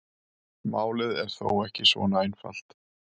Málið er þó ekki svona einfalt.